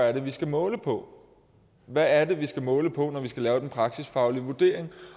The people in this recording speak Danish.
er vi skal måle på hvad er det vi skal måle på når vi skal lave den praksisfaglige vurdering